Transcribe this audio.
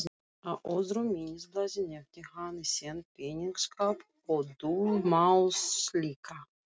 Á öðru minnisblaði nefndi hann í senn peningaskáp og dulmálslykla.